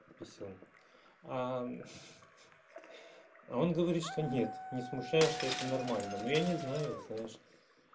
писюн а он говорит что нет не смущаешься это нормально но я не знаю знаешь